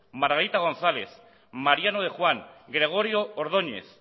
margarita gonzález mariano de juan gregorio ordóñez